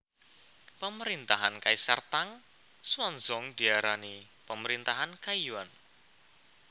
Pemerintahan Kaisar Tang Xuanzong diarani Pemerintahan Kaiyuan